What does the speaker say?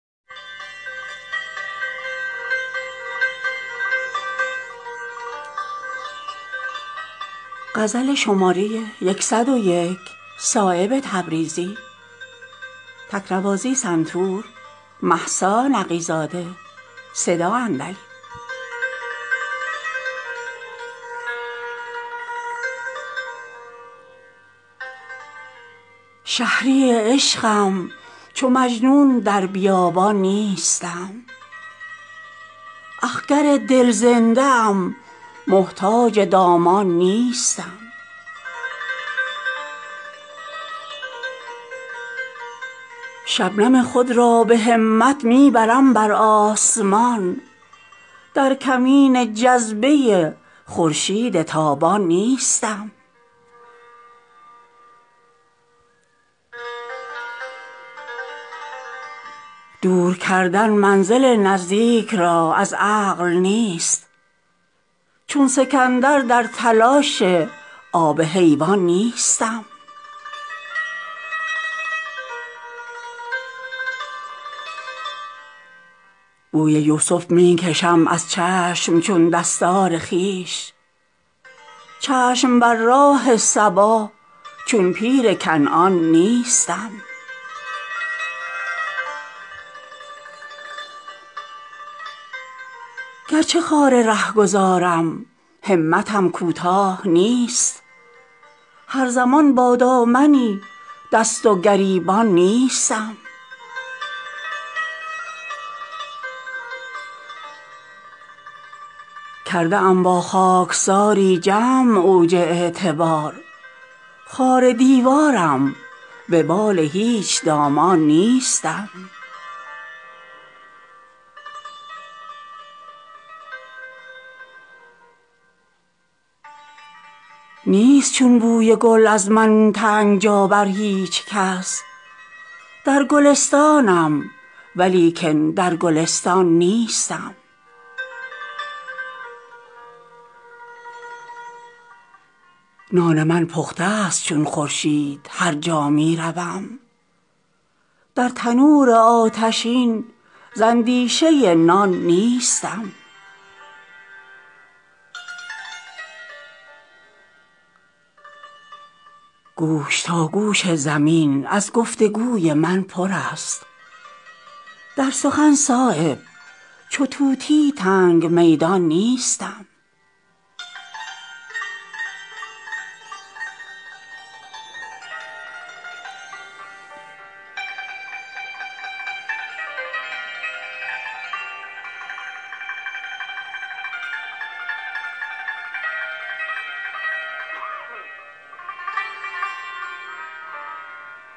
شهری عشقم چو مجنون در بیابان نیستم اخگر دل زنده ام محتاج دامان نیستم دست خود چون خوشه پیش ابر می سازم دراز خوشه چین کشت این خرمن گدایان نیستم قطره خود را ز کاوش می کنم بحر گهر چون صدف در انتظار ابر نیسان نیستم شبنم خود را به همت می برم برآسمان در کمین جذبه خورشید تابان نیستم گرچه خاررهگذارم همتم کوتاه نیست هر زمان بادامنی دست و گریبان نیستم دور کردن منزل نزدیک را از عقل نیست چون سکندر در تلاش آب حیوان نیستم بوی یوسف می کشم از چشم چون دستار خویش چشم بر راه صبا چون پیر کنعان نیستم خویش را فربه نمی سازم ز خوان دیگران چون مه نو کاسه لیس مهر تابان نیستم بر سر میدان جانبازان بود جولان من در قفس چون شیر بیدل از نیسان نیستم کرده ام با خاکساری جمع اوج اعتبار خار دیواره ام و بال هیچ دامان نیستم نیست چون بوی گل از من تنگ جا بر هیچ کس در گلستانم ولیکن در گلستان نیستم بر دل آزادگان هرگز نمی گردم گران همچو قمری باردوش سرو بستان نیستم دار نتواند حجاب جرات منصور شد اتشم از چوب دربان روی گردان نیستم نان من پخته است چون خورشید هر جا می روم در تنور اتشین ز اندیشه نان نیستم رفته چون مور از قناعت پای سعی من به گنج در تلاش مسند دست سلیمان نیستم می برم از کنج عزلت لذت کنج دهان از حلاوتخانه وحدت گریزان نیستم نیست از خواری به عزت پله ای نزدیکتر همچو یوسف دلگران از چاه و زندان نیستم دشمنان را در نظر دارم شکوه کوه قاف از گرانقدری سبک در هیچ میزان نیستم گوش تاگوش زمین از گفتگوی من پرست در سخن صایب چو طوطی تنگ میدان نیستم